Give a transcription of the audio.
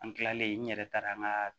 An kilalen n yɛrɛ taara an ka